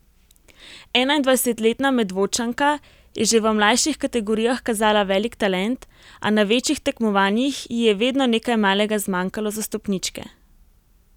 Enaindvajsetletna Medvodčanka je že v mlajših kategorijah kazala velik talent, a na večjih tekmovanjih ji je vedno nekaj malega zmanjkalo za stopničke.